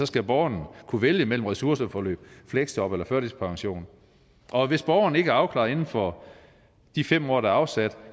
skal borgeren kunne vælge mellem ressourceforløb fleksjob og førtidspension og hvis borgeren ikke er afklaret inden for de fem år der er afsat